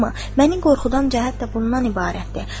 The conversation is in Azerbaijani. Məni qorxudan cəhət də bundan ibarətdir.